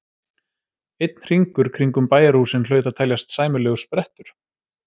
Einn hringur kringum bæjarhúsin hlaut að teljast sæmilegur sprettur.